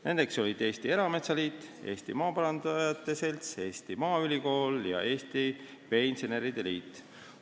Need olid Eesti Erametsaliit, Eesti Maaparandajate Selts, Eesti Maaülikool ja Eesti Veeinseneride Liit.